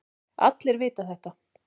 Allir vita þetta.